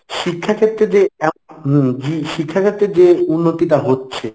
শিক্ষাক্ষেত্রে যে হম জি শিক্ষাক্ষেত্রে যে উন্নতিটা হচ্ছে